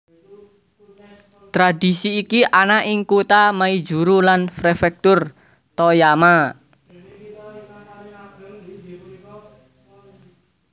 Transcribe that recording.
Tradhisi iki ana ing kutha Maizuru lan prefektur Toyama